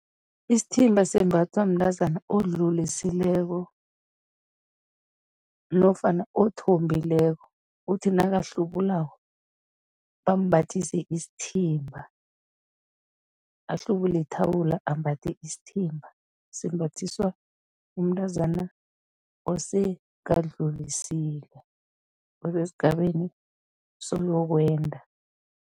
Isithimba sembathwa mntazana odlulisileko nofana othombileko, uthi nakahlubulako bambathise isithimba, ahlubule ithawula ambathe isithimba, simbathiswa umntazana osekadlulisile, osesigabeni soyokwenda.